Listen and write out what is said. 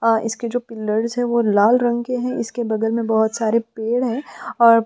इसके जो पिलर है वह लाल रंग के है और इसके बगल में बहोत सारे पेड़ है और--